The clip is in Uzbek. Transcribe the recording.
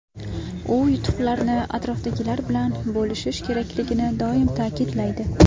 U yutuqlarni atrofdagilar bilan bo‘lishish kerakligini doim ta’kidlaydi.